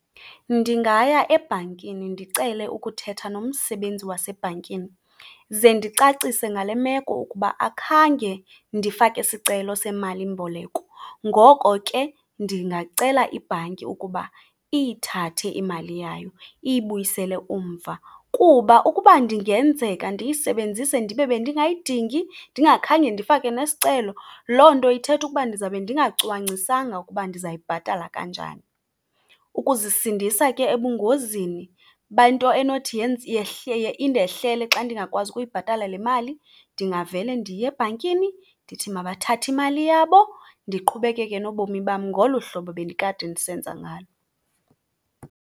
Ndingaya ebhankini ndicele ukuthetha nomsebenzi wasebhankini ze ndicacise ngale meko ukuba akhange ndifake sicelo semalimboleko, ngoko ke ndingacela ibhanki ukuba iyithathe imali yayo iyibuyisele umva. Kuba ukuba ndingenzeka ndiyisebenzise ndibe bendingayidingi, ndingakhange ndifake nesicelo, loo nto ithetha ukuba ndizawube ndingacwangcisanga ukuba ndizayibhatala kanjani. Ukuzisindisa ke ebungozini bento enothi indehlele xa ndingakwazi ukuyibhatala le mali, ndingavele ndiye ebhankini ndithi mabathathe imali yabo ndiqhubekeke nobomi bam ngolu hlobo bendikade ndisenza ngalo.